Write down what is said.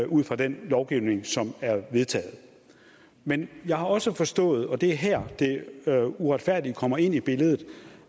ud fra den lovgivning som er vedtaget men jeg har også forstået og det er her det uretfærdige kommer ind i billedet